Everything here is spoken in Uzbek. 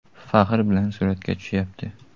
Faxr bilan suratga tushyapti.